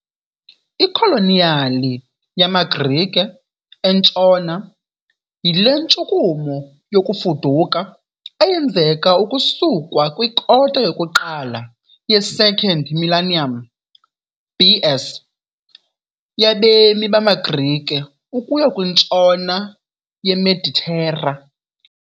Ikoloniyali yamaGrike eNtshona yile ntshukumo yokufuduka, eyenzeka ukusuka kwikota yokuqala ye -2nd millennium BC, yabemi bamaGrike ukuya kwintshona yeMeditera .